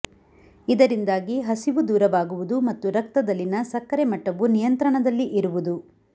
ಇದರಿಂದಾಗಿ ಹಸಿವು ದೂರವಾಗುವುದು ಮತ್ತು ರಕ್ತದಲ್ಲಿನ ಸಕ್ಕರೆ ಮಟ್ಟವು ನಿಯಂತ್ರಣದಲ್ಲಿ ಇರುವುದು